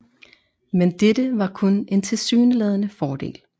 Men dette var kun en tilsyneladende fordel